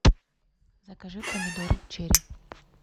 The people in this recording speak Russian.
закажи помидоры черри